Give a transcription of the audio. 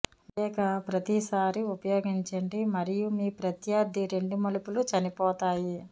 మీ ప్రత్యేక ప్రతిసారీ ఉపయోగించండి మరియు మీ ప్రత్యర్థి రెండు మలుపులు చనిపోతాయి